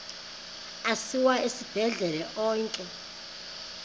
asiwa esibhedlele onke